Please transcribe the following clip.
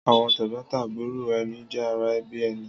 Àwọn tẹ́gbọ́ntàbúrò ẹni jẹ́ ara ẹbí ẹni.